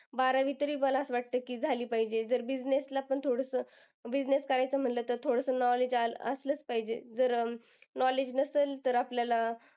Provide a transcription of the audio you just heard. बारावी तरी मला असं वाटतं की झाली पाहिजे जर business करायचं म्हणल तर थोडंसं knowledge आलंच असलाच पाहिजे. जर knowledge नसेल तर आपल्याला,